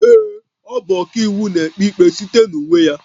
Ee, ọ bụ ọkàiwu, na-ekpe ikpe site na uwe ya